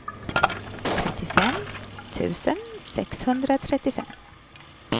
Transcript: trettiofem tusen sexhundratrettiofem